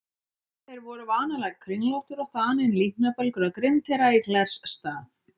Þeir voru vanalega kringlóttir og þaninn líknarbelgur á grind þeirra í glers stað.